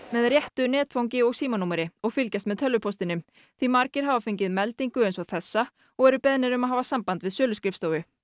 með réttu netfangi og símanúmeri og fylgjast með tölvupóstinum því margir hafa fengið meldingu eins og þessa og eru beðnir um að hafa samband við söluskrifstofu